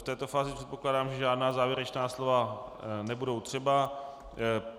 V této fázi předpokládám, že žádná závěrečná slova nebudou třeba.